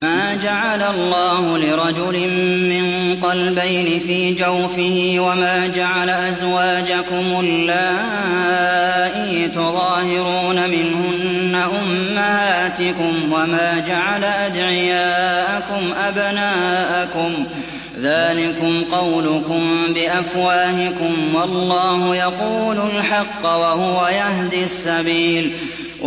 مَّا جَعَلَ اللَّهُ لِرَجُلٍ مِّن قَلْبَيْنِ فِي جَوْفِهِ ۚ وَمَا جَعَلَ أَزْوَاجَكُمُ اللَّائِي تُظَاهِرُونَ مِنْهُنَّ أُمَّهَاتِكُمْ ۚ وَمَا جَعَلَ أَدْعِيَاءَكُمْ أَبْنَاءَكُمْ ۚ ذَٰلِكُمْ قَوْلُكُم بِأَفْوَاهِكُمْ ۖ وَاللَّهُ يَقُولُ الْحَقَّ وَهُوَ يَهْدِي السَّبِيلَ